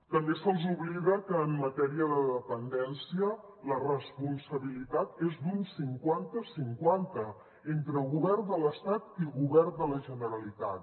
també se’ls oblida que en matèria de dependència la responsabilitat és d’un cinquantacinquanta entre govern de l’estat i govern de la generalitat